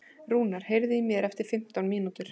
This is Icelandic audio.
Rúnar, heyrðu í mér eftir fimmtán mínútur.